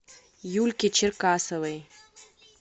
юльке черкасовой